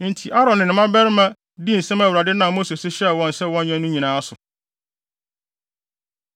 Enti Aaron ne ne mmabarima dii nsɛm a Awurade nam Mose so hyɛɛ wɔn sɛ wɔnyɛ no nyinaa so.